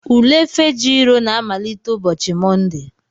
Ule Fejiro na-amalite ụbọchị Mọnde.